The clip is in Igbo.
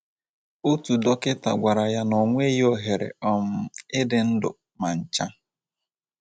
Otu dọkịta gwara ya na o nweghị ohere um ịdị ndụ ma ncha.